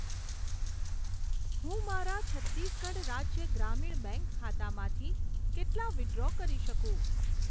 હું મારા છત્તીસગઢ રાજ્ય ગ્રામીણ બેંક ખાતામાંથી કેટલા વિથડ્રો કરી શકું?